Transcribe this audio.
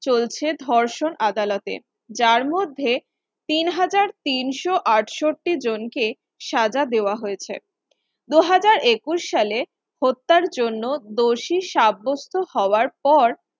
চলছে ধর্ষণ আদালতে যার মধ্যে তিন হাজার তিনশ আটষট্টি জনকে সাজা দেওয়া হয়েছে দুহাজার একুশ সালে হত্যার জন্য দোষী সাব্যস্ত হওয়ার পর